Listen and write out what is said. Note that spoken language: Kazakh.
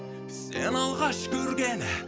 сені алғаш көрген